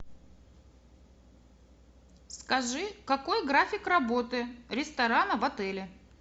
скажи какой график работы ресторана в отеле